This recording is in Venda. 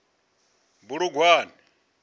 bulugwane